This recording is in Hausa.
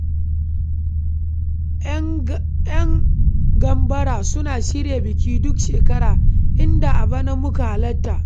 ‘Yan gambara suna shirya biki duk shekara, inda a bana muka halarta.